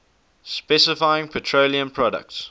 specifying petroleum products